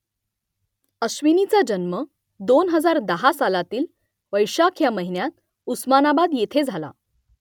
अश्विनीचा जन्म दोन हजार दहा सालातील वैशाख या महिन्यात उस्मानाबाद येथे झाला